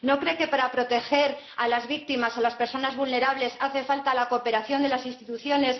¿No cree que para proteger a las víctimas, a las personas vulnerables, hace falta la cooperación de las instituciones?